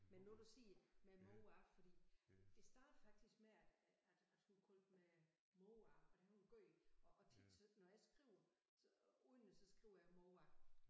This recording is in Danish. Men nu du siger med mor fordi det startede faktisk med at at at hun kaldte mig mor og det har hun gjort og og tit så når jeg skriver under så skriver jeg mor